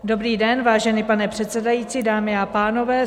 Dobrý den, vážený pane předsedající, dámy a pánové.